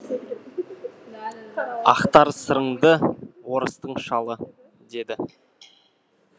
ақтар сырыңды орыстың шалы деді